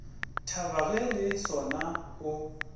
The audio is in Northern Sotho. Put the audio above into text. thaba ge le sona o